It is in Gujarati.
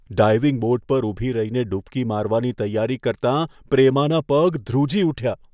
ડાઈવિંગ બોર્ડ પર ઊભી રહીને ડૂબકી મારવાની તૈયારી કરતાં પ્રેમાના પગ ધ્રુજી ઉઠ્યા.